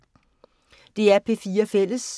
DR P4 Fælles